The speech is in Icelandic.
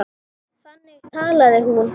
Þannig talaði hún.